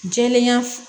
Jɛlenya